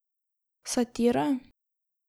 Satira?